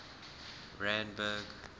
randburg